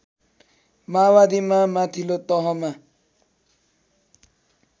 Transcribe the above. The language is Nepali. माओवादीमा माथिल्लो तहमा